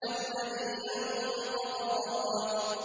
الَّذِي أَنقَضَ ظَهْرَكَ